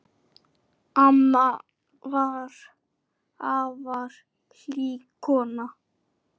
Amma var afar hlý kona.